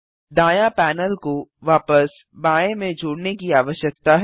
दायाँ पैनल को वापस बाएँ में जोड़ने की आवश्यकता है